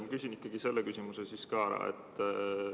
Ma küsin ikkagi selle küsimuse ka ära.